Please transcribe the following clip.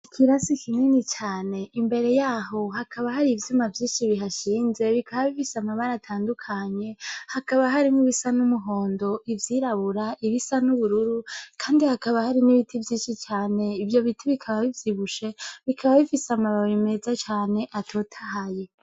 Ikirasi kinini cane imbere yaho hakaba hari ivyuma vyinshi bihashinze bikaba bifise amabara atandukanye hakaba harimwo Ibisa numuhondo ivyrirabura kandi hakaba hari nibiti vyinshi cane ivyo biti bikaba bivyibushe bikaba bifise amababi meza cane atotahaye.